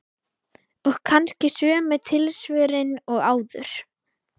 Og kannski sömu tilsvörin og áður.